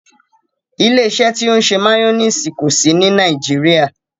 Ìlẹ̀-ìṣẹ̀ ti o ṣẹ mayonnaise kò sí ní Nàìjíríà.